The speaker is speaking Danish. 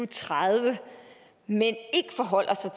tredive men ikke forholder sig